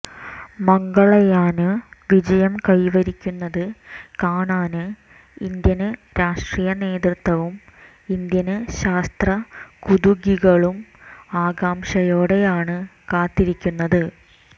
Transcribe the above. മംഗള്യാന് വിജയം കൈവരിക്കുന്നത് കാണാന് ഇന്ത്യന് രാഷ്ട്രീയനേതൃത്വവും ഇന്ത്യന് ശാസ്ത്രകുതുകികളും ആകാംക്ഷയോടെയാണ് കാത്തിരിക്കുന്നത്